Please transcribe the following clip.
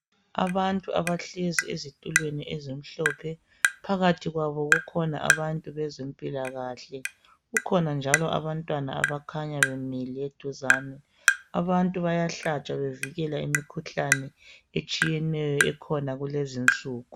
Abantu abahlezi ezitulweni ezimhlophe phakathi kwabo kukhona abantu bezempilakahle kukhona njalo abantwanaa abakhanya bamile eduzani , abantu bayahlatshwa bevikeleke imikhuhlane etshiyeneyo ekhona kulezinsuku.